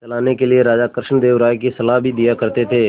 चलाने के लिए राजा कृष्णदेव राय को सलाह भी दिया करते थे